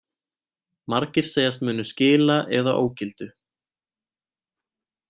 Margir segjast munu skila eða ógildu